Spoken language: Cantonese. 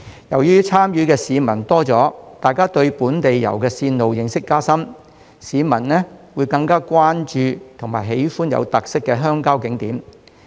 由於參與的市民多了，他們對本地遊的線路認識加深，會更關注和喜歡有特色的鄉郊景點。